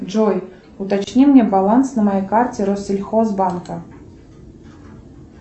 джой уточни мне баланс на моей карте россельхозбанка